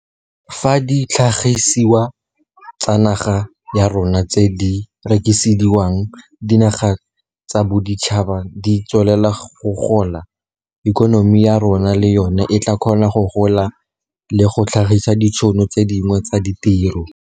Fa ditlhagisiwa tsa naga ya rona tse di rekisediwang dinaga tsa boditšhaba di tswelela go gola, ikonomi ya rona le yona e tla kgona go gola le go tlhagisa ditšhono tse dingwe tsa ditiro.